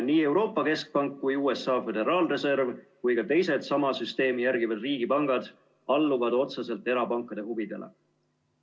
Nii Euroopa Keskpank, USA Föderaalreserv kui ka teised sama süsteemi järgivad riigipangad alluvad otseselt erapankade huvidele.